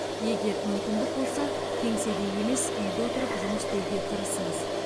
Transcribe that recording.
егер мүмкіндік болса кеңседе емес үйде отырып жұмыс істеуге тырысыңыз